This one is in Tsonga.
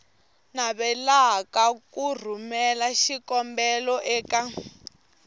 navelaka ku rhumela xikombelo eka